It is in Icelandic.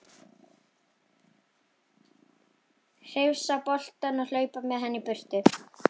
Hrifsa boltann og hlaupa með hann í burtu.